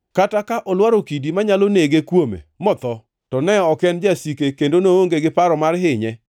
kata ka olwaro kidi manyalo nege kuome motho; to ne ok en jasike kendo noonge gi paro mar hinye,